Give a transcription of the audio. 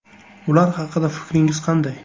Ular haqida fikringiz qanday?